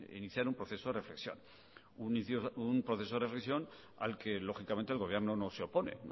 iniciar un proceso de reflexión un proceso de reflexión al que lógicamente el gobierno no se opone